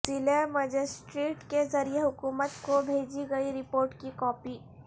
ضلع مجسٹریٹ کے ذریعہ حکومت کو بھیجی گئی رپورٹ کی کاپی